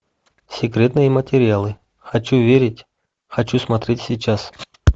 секретные материалы хочу верить хочу смотреть сейчас